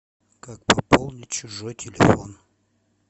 как пополнить чужой телефон